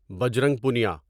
Bajrang Punia